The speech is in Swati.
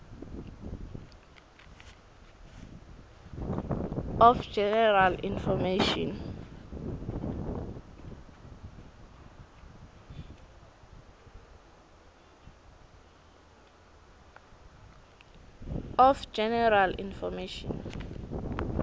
of general information